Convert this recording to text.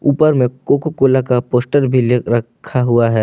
ऊपर में Coca Cola का फोस्टर भी रखा हुआ है।